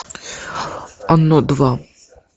оно два